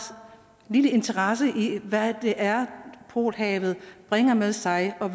lille interesse i hvad det er polhavet bringer med sig og